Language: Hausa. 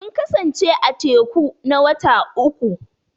Sun kasance a teku na wata uƙu.